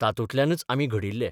तातूंतल्यानच आमी घडिल्ले.